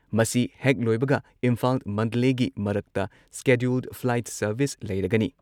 ꯃꯁꯤ ꯍꯦꯛ ꯂꯣꯏꯕꯒ ꯏꯝꯐꯥꯜ-ꯃꯟꯗꯂꯦꯒꯤ ꯃꯔꯛꯇ ꯁ꯭ꯀꯦꯗ꯭ꯌꯨꯜ ꯐ꯭ꯂꯥꯏꯠ ꯁꯔꯚꯤꯁ ꯂꯩꯔꯒꯅꯤ ꯫